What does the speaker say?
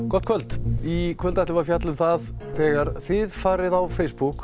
gott kvöld í kvöld ætlum við að fjalla um það að þegar þið farið á Facebook